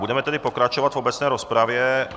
Budeme tedy pokračovat v obecné rozpravě.